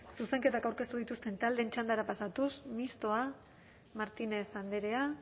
zuzenketak aurkeztu dituzten taldeen txandara pasatuz mistoa martínez andrea